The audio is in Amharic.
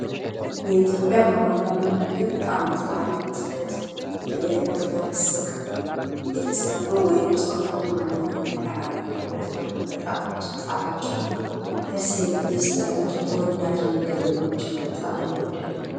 የኢትዮጵያ ባህላዊ ምግብ በዓመት በዓል ወቅት እንደዚህ በእያይነቱ በፍስክ የተሰሩ ወይም ፆም ያልሆነ ምግብ የተቀላቀረበት ነው። በጣም እጅግ ጣፋጭ አና ደስ የሚል ቴስት ያላቸው ተወዳጅ ምግብ ነው ጅግ በጣም ይወደዳል።